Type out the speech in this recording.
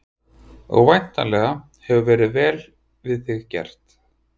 Og væntanlega hefur verið vel við þig gert?